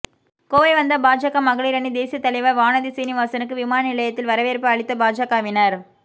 கோவை வந்த பாஜக மகளிரணி தேசியத் தலைவா் வானதி சீனிவாசனுக்கு விமான நிலையத்தில் வரவேற்பு அளித்த பாஜகவினா்